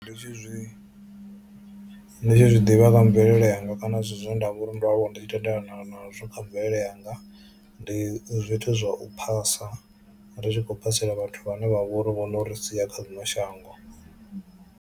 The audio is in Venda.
Ndi tshi zwi ndi tshi zwi ḓivha nga mvelele yanga kana zwithu zwine nda vho ri ndo aluwa ndi tshi tendelana nazwo kha mvelele yanga ndi zwithu zwa u phasa ri tshi khou phasela vhathu vhane vha vhori vho no ri sia kha ḽino shango.